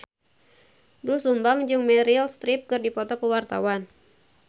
Doel Sumbang jeung Meryl Streep keur dipoto ku wartawan